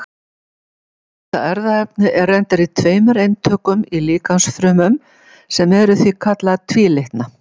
Þetta erfðaefni er reyndar í tveimur eintökum í líkamsfrumum, sem eru því kallaðar tvílitna.